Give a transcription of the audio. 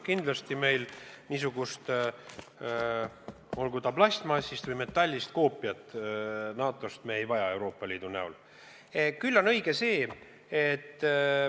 Kindlasti meil niisugust, olgu ta plastmassist või metallist koopiat NATO-st Euroopa Liidu näol vaja ei ole.